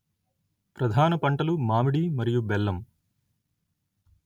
ప్రధాన పంటలు మామిడి మరియు బెల్లం